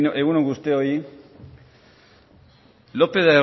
egun on guztioi lopez